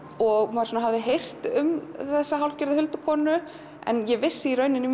maður hafði heyrt um þessa hálfgerðu huldukonu en ég vissi í rauninni